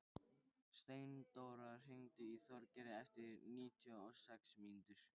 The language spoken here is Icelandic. Steindóra, hringdu í Þorgerði eftir níutíu og sex mínútur.